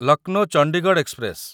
Lucknow Chandigarh express